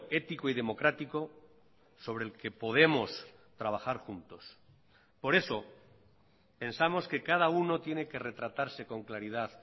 ético y democrático sobre el que podemos trabajar juntos por eso pensamos que cada uno tiene que retratarse con claridad